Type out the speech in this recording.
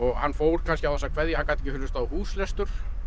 hann fór kannski án þess að kveðja hann gat ekki hlustað á húslestur